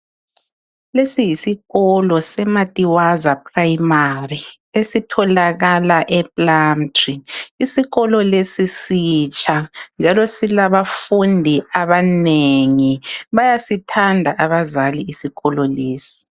Lesi yisikolo seMatiwaza prayimari esitholakala epulamutri isikolo lesi sitsha njalo silabafundi abanengi bayasithanda abazali isikolo lesi